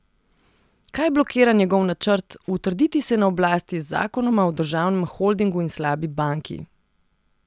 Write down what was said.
Kaj blokira njegov načrt utrditi se na oblasti z zakonoma o državnem holdingu in slabi banki?